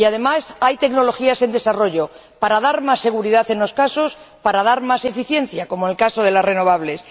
Y, además, hay tecnologías en desarrollo, para dar más seguridad, en unos casos, o para dar más eficiencia, como en el caso de las renovables.